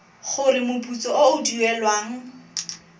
gore moputso o o duelwang